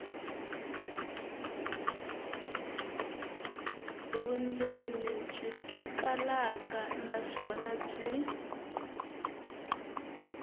vundzeni byi twakalaka naswona byi